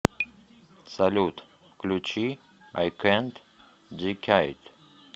салют включи ай кэнт дикайд